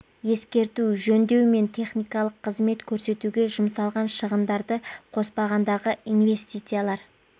ескерту жөндеу мен техникалық қызмет көрсетуге жұмсалған шығындарды қоспағандағы инсвестициялар